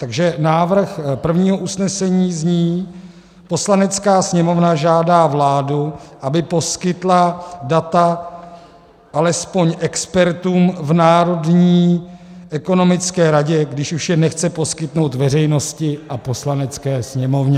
Takže návrh prvního usnesení zní: "Poslanecká sněmovna žádá vládu, aby poskytla data alespoň expertům v Národní ekonomické radě, když už je nechce poskytnout veřejnosti a Poslanecké sněmovně."